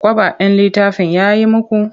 Kwaba ɗin littafin ya yi muku?